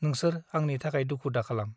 नोंसोर आंनि थाखाय दुखु दाखालाम ।